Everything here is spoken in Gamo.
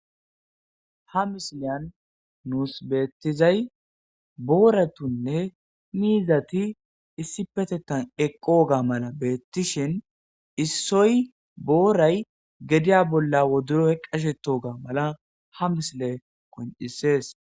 Ha misiliyan nuus beettizay booratunne miizati issi petettan eqoga mala beettishin issoy booray gediya bolla woduroy qashetoga mala ha misile koncisees